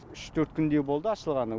үш төрт күндей болды ашылғанына